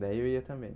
Daí eu ia também.